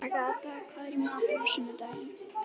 Agatha, hvað er í matinn á sunnudaginn?